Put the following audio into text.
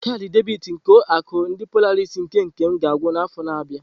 Kaadị debiti nke ulo akụ ndi Polarisii nke Nkem ga-agwụ n'afọ na-abịa.